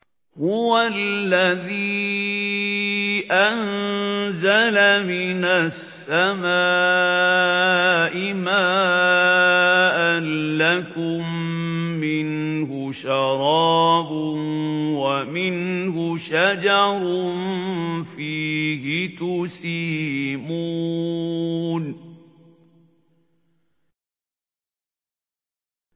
هُوَ الَّذِي أَنزَلَ مِنَ السَّمَاءِ مَاءً ۖ لَّكُم مِّنْهُ شَرَابٌ وَمِنْهُ شَجَرٌ فِيهِ تُسِيمُونَ